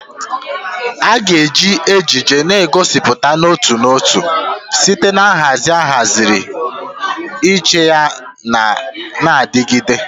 A ga-eji ejiji na-egosipụta n'otu n'otu site na nhazi ahaziri iche yana na-adigide.